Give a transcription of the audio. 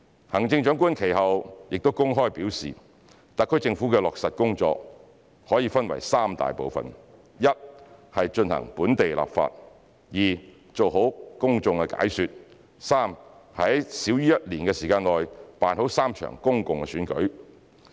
行政長官其後公開表示，特區政府的落實工作可分為三大部分，一是進行本地立法，二是做好公眾解說，三是在少於1年的時間內辦好3場公共選舉。